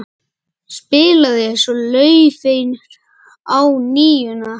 Spilaði svo laufi á NÍUNA.